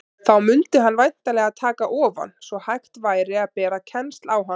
Þá mundi hann væntanlega taka ofan, svo hægt væri að bera kennsl á hann.